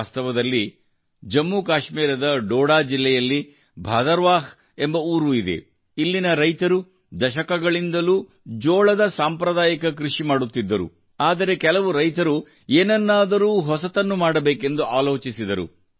ವಾಸ್ತವದಲ್ಲಿ ಜಮ್ಮು ಕಾಶ್ಮೀರದ ಡೋಡಾ ಜಿಲ್ಲೆಯಲ್ಲಿ ಭದರ್ವಾಹ್ ಎಂಬ ಊರು ಇದೆ ಇಲ್ಲಿನ ರೈತರು ದಶಕಗಳಿಂದಲೂ ಜೋಳದ ಸಾಂಪ್ರದಾಯಿಕ ಕೃಷಿ ಮಾಡುತ್ತಿದ್ದರು ಆದರೆ ಕೆಲವು ರೈತರು ಏನನ್ನಾದರೂ ಹೊಸತನ್ನು ಮಾಡಬೇಕೆಂದು ಆಲೋಚಿಸಿದರು